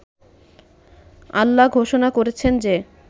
আল্লাহ ঘোষণা করেছেন যে